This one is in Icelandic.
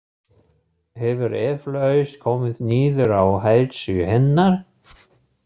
Hefur eflaust komið niður á heilsu hennar.